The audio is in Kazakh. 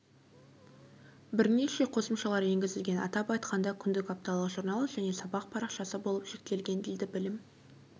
бірнеше қосымшалар енгізілген атап айтқанда күндік апталық журнал және сабақ парақшасы болып жіктелген дейді білім